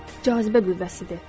Bu cazibə qüvvəsidir.